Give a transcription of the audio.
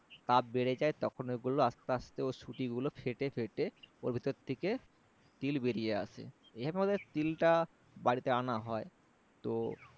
তাপ বেড়ে যায় তখন ওগুলো আস্তে আস্তে ওর সুটি গুলো ফেটে ফেটে ওর ভেতর থেকে তিল বেরিয়ে আসে এভাবে আমাদের তিলটা বাড়িতেআনা হয় তো